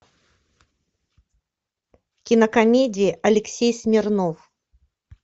кинокомедия алексей смирнов